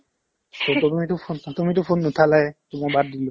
সেইকাৰণে এইটো ফোন চোন তুমিতো ফোন নুঠালেয়ে to মই বাদ দিলো